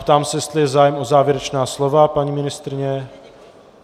Ptám se, jestli je zájem o závěrečná slova, paní ministryně.